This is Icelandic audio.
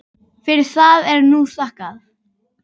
Fyrir það er nú þakkað.